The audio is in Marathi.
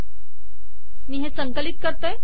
मी हे संकलित करते